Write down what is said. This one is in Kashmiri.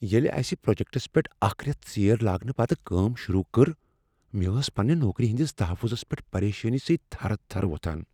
ییلِہ اَسِہ پروجیکٹس پیٹھ اکھ ریتھ ژیر لاگنہ پتہٕ کٲم شروع کٔر، مےٚ ٲس پننِہ نوکری ہٕندِس تحفظس پیٹھ پریشانی سۭتۍ تھرٕ تھرٕ وۄتھان ۔